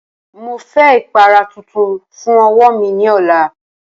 Mo fẹ ipara tuntun fun ọwọ mi ni ọla!